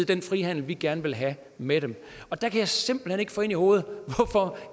den frihandel vi gerne vil have med dem og der kan jeg simpelt hen ikke få ind i hovedet hvorfor